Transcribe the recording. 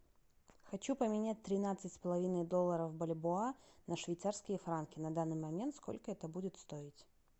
хочу поменять тринадцать с половиной долларов бальбоа на швейцарские франки на данный момент сколько это будет стоить